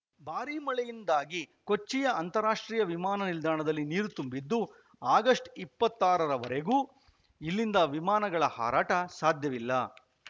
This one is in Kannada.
ಭಾರೀ ಮಳೆಯಿಂದಾಗಿ ಕೊಚ್ಚಿಯ ಅಂತಾರಾಷ್ಟ್ರೀಯ ವಿಮಾನ ನಿಲ್ದಾಣದಲ್ಲಿ ನೀರು ತುಂಬಿದ್ದು ಆಗಸ್ಟ್ ಇಪ್ಪತ್ತ್ ಆರರವರೆಗೂ ಇಲ್ಲಿಂದ ವಿಮಾನಗಳ ಹಾರಾಟ ಸಾಧ್ಯವಿಲ್ಲ